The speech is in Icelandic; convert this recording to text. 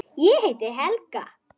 Ég heiti Helga!